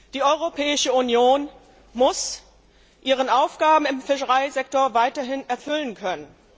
Die Europäische Union muss ihre Aufgaben im Fischereisektor weiterhin erfüllen können.